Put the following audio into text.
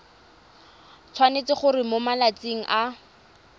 tshwanetse gore mo malatsing a